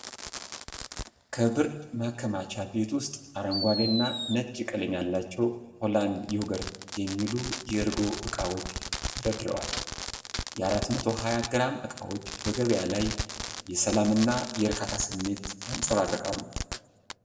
ከብርድ ማከማቻ ቤት ውስጥ አረንጓዴና ነጭ ቀለም ያላቸው "ሆላንድ ዮጉርት" የሚሉ የእርጎ እቃዎች ተደርድረዋል። የ420 ግራም እቃዎች በገበያ ላይ የሰላም እና የእርካታ ስሜት ያንጸባርቃሉ።